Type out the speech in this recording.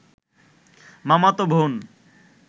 মামাতো বোন